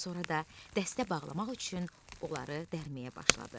Sonra da dəstə bağlamaq üçün onları dərməyə başladı.